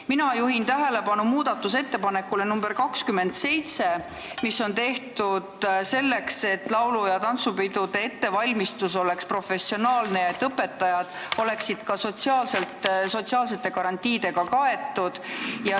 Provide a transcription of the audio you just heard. Mina juhin tähelepanu muudatusettepanekule nr 27, mis on tehtud selleks, et laulu- ja tantsupidude ettevalmistus oleks professionaalne ja et õpetajad oleksid ka sotsiaalsete garantiidega kaetud.